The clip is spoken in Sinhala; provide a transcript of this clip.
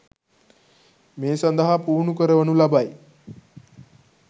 මේ සඳහා පුහුණු කරවනු ලබයි